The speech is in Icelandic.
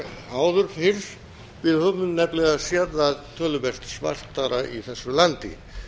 áður fyrr við höfum nefnilega séð það töluvert svartara í þessu landi